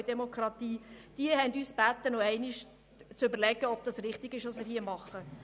Die drei Städte haben uns gebeten, noch einmal zu überdenken, ob richtig ist, was wir hier tun.